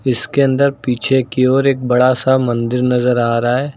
इसके अंदर पीछे की ओर एक बड़ा सा मंदिर नजर आ रहा है।